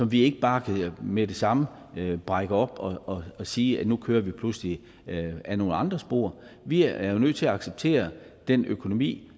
vi ikke bare med det samme brække op og sige at nu kører vi pludselig ad nogle andre spor vi er jo nødt til at acceptere den økonomi